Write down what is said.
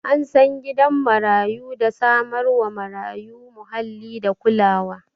An san gidan marayu da samar wa marayu muhalli da kulawa